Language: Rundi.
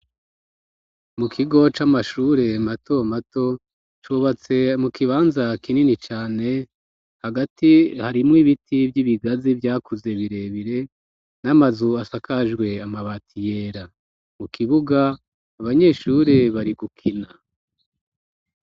Mu kigo c'amashure mato mato cubatse mu kibanza kinini cane, hagati harimwo ibiti vy'ibigazi vyakuze birebire n'amazu asakajwe amabati yera, mu kibuga abanyeshure bari gukina.